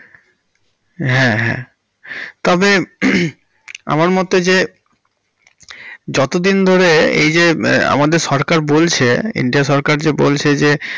হ্যাঁ হ্যাঁ তবে হমম আমার মোতে যে যতদিন ধরে এই যে আমাদের সরকার বলছে, কেন্দ্র সরকার যে বলছে যে।